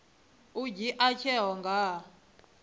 u dzhia tsheo nga ha